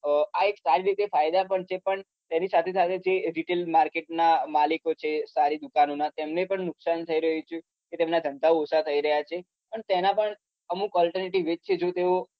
અ એક ફાયદા પણ છે પણ તેની સાથે સાથે ritail market ના માલીકો છે સારી દુકાનો ને પણ નુકસાન થાય રહ્યું છે એમના ધંધા પણ ઓછા થાય રહ્યા છે તેના પણ અમુક જે તેઓ